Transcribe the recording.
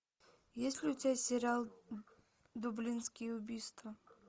есть ли у тебя сериал дублинские убийства